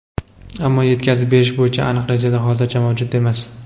ammo yetkazib berish bo‘yicha aniq rejalar hozircha mavjud emas.